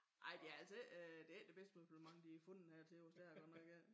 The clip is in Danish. Ej det er altså ik øh det ikke det bedste møblement de har fundet her til os det er det godt nok ik